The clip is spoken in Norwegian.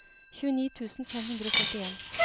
tjueni tusen fem hundre og førtien